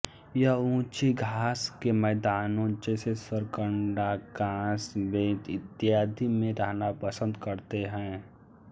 यह ऊँची घास के मैदानों जैसे सरकंडा काँस बेंत इत्यादि में रहना पसन्द करते हैं